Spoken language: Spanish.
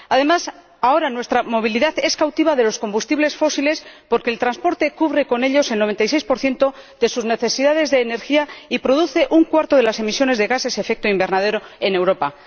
Asimismo, ahora nuestra movilidad es cautiva de los combustibles fósiles, porque el transporte cubre con ellos el 96 de sus necesidades de energía y produce una cuarta parte de las emisiones de gases de efecto invernadero en Europa.